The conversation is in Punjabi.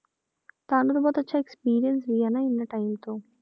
ਤੁਹਾਨੂੰ ਤਾਂ ਬਹੁਤ ਅੱਛਾ experience ਹੀ ਹੈ ਇੰਨਾ time ਤੋਂ